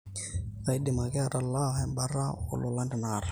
kaidim ake atalaa embata oo lolan tenakata